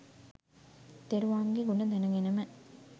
තෙරුවන්ගේ ගුණ දැනගෙනම